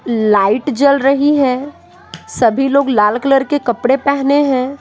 Light जल रही है सभी लोग लाल कलर के कपड़े पहने हैं।